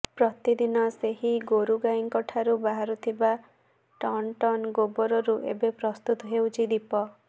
ପ୍ରତିଦିନ ସେହି ଗୋରୁଗାଈଙ୍କଠାରୁ ବାହାରୁଥିବା ଟନଟନ ଗୋବରରୁ ଏବେ ପ୍ରସ୍ତୁତ ହେଉଛି ଦୀପ